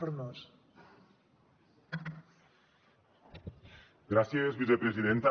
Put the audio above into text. gràcies vicepresidenta